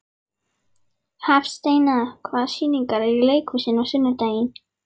Hafsteina, hvaða sýningar eru í leikhúsinu á sunnudaginn?